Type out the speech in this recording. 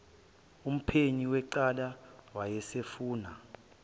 umphenyi wecala wayesafuna